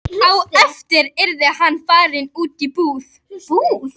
Á eftir yrði hann að fara út í búð.